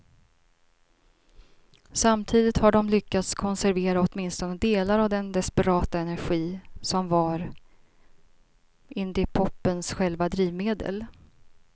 Samtidigt har de lyckats konservera åtminstone delar av den desperata energi som var indiepopens själva drivmedel.